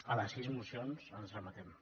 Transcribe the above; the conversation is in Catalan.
a les sis mocions ens remetem